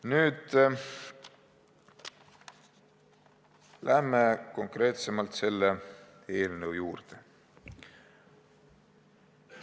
Nüüd lähen konkreetsemalt selle eelnõu juurde.